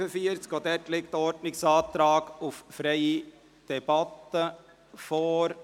Auch hierzu liegt ein Ordnungsantrag auf freie Debatte vor.